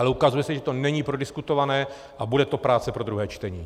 Ale ukazuje se, že to není prodiskutované a bude to práce pro druhé čtení.